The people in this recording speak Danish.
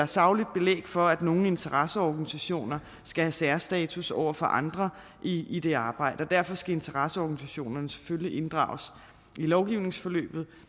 sagligt belæg for at nogen interesseorganisationer skal have særstatus over for andre i i det arbejde og derfor skal interesseorganisationerne selvfølgelig inddrages i lovgivningsforløbet